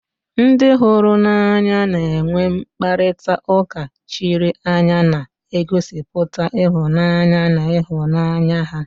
Ndị hụrụ n'anya na-enwe mkparịta ụka chiri anya na-egosipụta ịhụnanya na ịhụnanya ha